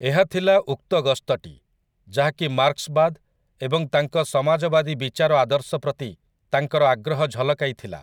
ଏହା ଥିଲା ଉକ୍ତ ଗସ୍ତଟି, ଯାହାକି 'ମାର୍କ୍ସବାଦ' ଏବଂ ତାଙ୍କ ସମାଜବାଦୀ ବିଚାର ଆଦର୍ଶ ପ୍ରତି ତାଙ୍କର ଆଗ୍ରହ ଝଲକାଇଥିଲା ।